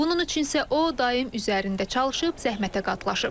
Bunun üçün isə o daim üzərində çalışıb, zəhmətə qatlaşıb.